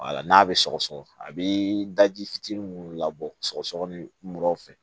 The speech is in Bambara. n'a bɛ sɔgɔsɔgɔ a bɛ daji fitinin minnu labɔ sɔgɔsɔgɔninw fɛ